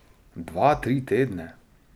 Dva, tri tedne?